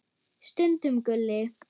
Stundum Gulli.